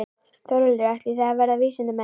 Þórhildur: Ætlið þið að verða vísindamenn?